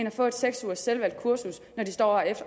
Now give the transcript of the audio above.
at få et seks ugers selvvalgt kursus når de står og er